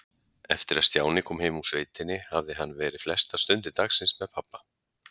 Eftir að Stjáni kom heim úr sveitinni hafði hann verið flestar stundir dagsins með pabba.